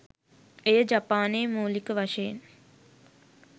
එය ජපානයේ මූලික වශයෙන්